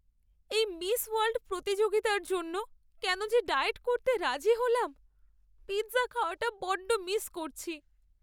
এই miss world প্রতিযোগিতার জন্য কেন যে ডায়েট করতে রাজি হলাম! পিৎজা খাওয়াটা বড্ড মিস করছি।